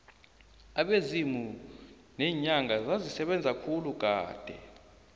abezimu neenyanga zazisebenza khulu kade